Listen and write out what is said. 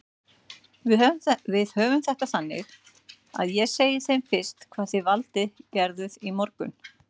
Við höfum þetta þannig að ég segi þeim fyrst hvað þið Valdi gerðuð í morgun.